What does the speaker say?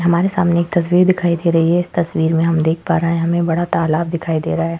हमारे सामने एक तस्वीर दिखाई दे रही है। इस तस्वीर में हम देख पा रहे है। हमे बड़ा तालाब दिखाई दे रहा है।